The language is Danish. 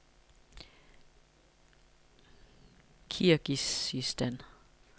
Kirgizistan